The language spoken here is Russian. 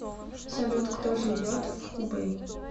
салют кто живет в хубэй